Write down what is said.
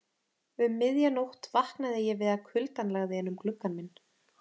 Um miðja nótt vaknaði ég við að kuldann lagði inn um gluggann minn.